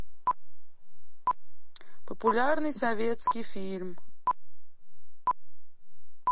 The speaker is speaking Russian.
популярный советский фильм